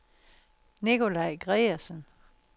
Nicolaj Gregersen